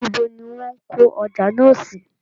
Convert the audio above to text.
Ibo ní wón kọ́ ọjà náà sí?